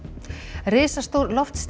risastór